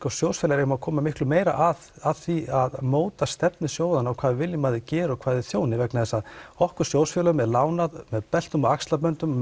sjóðsfélagar eigum að koma miklu meira að því að móta stefnu sjóðanna og hvað við viljum að þeir geri og hvað þeir þjóni vegna þess að okkur sjóðsfélögum er lánað með beltum og axlaböndum